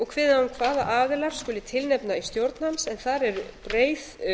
og kveðið á um hvaða aðilar skuli tilnefna í stjórn hans en þar er breið